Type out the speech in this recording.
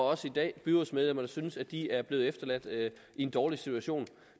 også i dag byrådsmedlemmer der synes at de er blevet efterladt i en dårlig situation